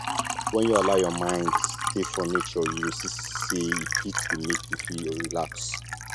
wen you allow your mind stay for nature you go see sey e fit dey make you feel relax